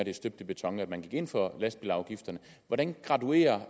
er støbt i beton at man ind for lastbilafgifterne hvordan graduerer